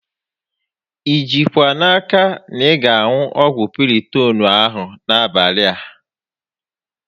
I jikwa n'aka na ị ga aṅụ ọgwụ Piritoonu a n'abalị a?